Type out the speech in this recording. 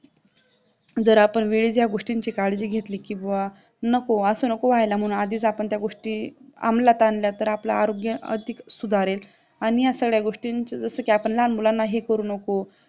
जर आपण वेळेत ह्या गोष्टीची काळजी घेतली की, बुवा नको असं नको व्हायला म्हणून आधीच आपण त्या गोष्टी अमल्यात आणल्या, तर मग आपलं आरोग्य अधिक सुधारेल. आणि या सगळ्या गोष्टींचा जसं की आपण लहान मुलांना हे करू नको